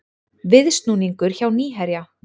Viðsnúningur hjá Nýherja